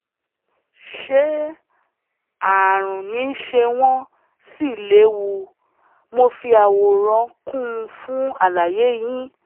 ṣé ààrùn ni ṣé wọ́n sì léwu? mo fi àwòrán kún un fún àlàyé yín